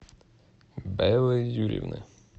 беллы юрьевны